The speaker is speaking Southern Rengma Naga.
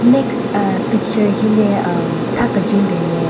Next aahh picture hile hmm tha kejwen bin nme.